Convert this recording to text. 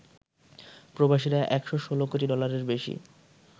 প্রবাসীরা ১১৬ কোটি ডলারের বেশি